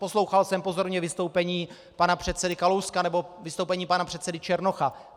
Poslouchal jsem pozorně vystoupení pana předsedy Kalouska nebo vystoupení pana předsedy Černocha.